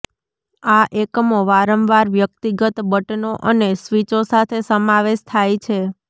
આ એકમો વારંવાર વ્યક્તિગત બટનો અને સ્વીચો સાથે સમાવેશ થાય છે